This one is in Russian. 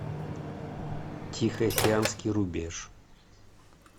тихоокеанский рубеж